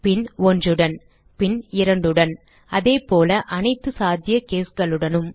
பின் 1 உடன் பின் 2 உடன் அதேபோல அனைத்து சாத்திய caseகளுடனும்